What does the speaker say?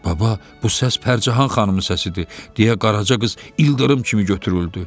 Baba, bu səs Pərcahan xanımın səsidir" deyə Qaraca qız ildırım kimi götürüldü.